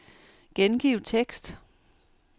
Gengiv tekst.